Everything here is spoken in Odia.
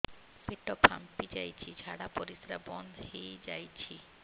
ପେଟ ଫାମ୍ପି ଯାଇଛି ଝାଡ଼ା ପରିସ୍ରା ବନ୍ଦ ହେଇଯାଇଛି